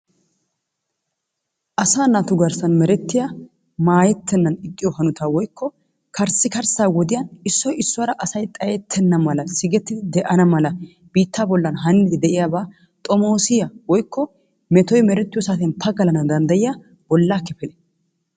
Asaa naatu garssan merettiya maayettennan ixxiyo hanotaa woykko karssikarssaa wodiyan issoy issuwara asay xayettenna mala sigettidi de'ana mala biittaa bollan haaniiddi de'iyabaa xomoosiya woykko metoy merettiyo saatiyan pagalana danddayiya bolla kifil,,